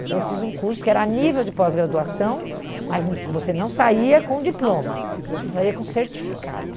Então eu fiz um curso que era a nível de pós-graduação, mas hum você não saía com diploma, você saía com certificado.